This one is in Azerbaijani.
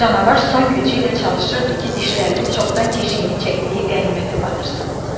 Canavar son gücü ilə çalışırdı ki, dişlərini çoxdan keşiyini çəkdiyi qənimətə batırsın.